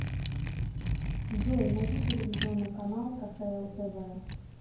джой найди телевизионный канал кхл тв